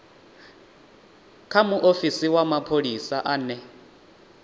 kha muofisi wa mapholisa ane